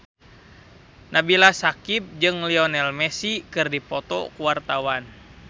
Nabila Syakieb jeung Lionel Messi keur dipoto ku wartawan